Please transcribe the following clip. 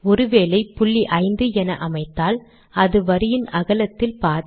ஒரு வேளை புள்ளி ஐந்து என அமைத்தால் அது வரியின் அகலத்தில் பாதி